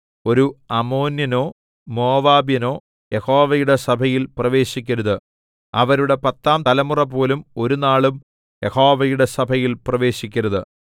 ഒരു അമ്മോന്യനോ മോവാബ്യനോ യഹോവയുടെ സഭയിൽ പ്രവേശിക്കരുത് അവരുടെ പത്താം തലമുറപോലും ഒരുനാളും യഹോവയുടെ സഭയിൽ പ്രവേശിക്കരുത്